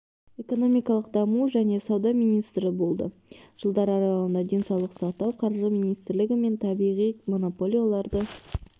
экономикалық даму және сауда министрі болды жылдар аралығында денсаулық сақтау қаржы министрлігі мен табиғи монополияларды